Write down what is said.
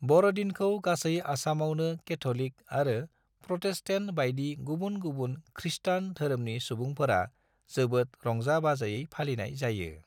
बर'दिनखौ गासै आसामावनो केथ'लिक आरो प्रटेस्टेन्ट बायदि गुबुन गुबुन खृस्टान धोरोमनि सुबुंफोरा जोबोद रंजा-बाजायै फालिनाय जायो।